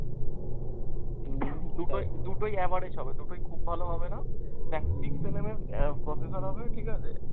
উম দুটোই, দুটোই average হবে, দুটোই খুব ভালো হবেনা আহ processor হবে ঠিকাছে।